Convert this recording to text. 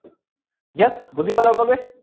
yes বুজি পালে সকলোৱে?